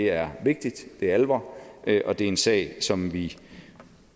er vigtigt det er alvor og det er en sag som vi